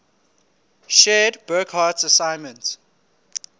shared burckhardt's assessment